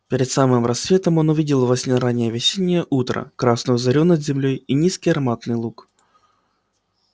перед самым рассветом он увидел во сне раннее весеннее утро красную зарю над землёй и низкий ароматный луг